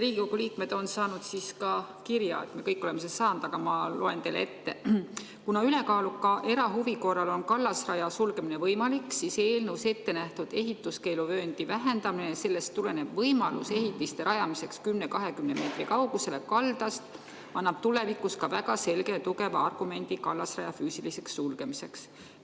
Riigikogu liikmed on saanud kirja, me kõik oleme selle saanud, aga loen teile ette: "Kuna ülekaaluka erahuvi korral on kallasraja sulgemine võimalik, siis eelnõus ettenähtud ehituskeeluvööndi vähendamine ja sellest tulenev võimalus ehitiste rajamiseks 10–20 meetri kaugusele kaldast annab tulevikus ka väga selge ja tugeva argumendi kallasraja füüsiliseks sulgemiseks.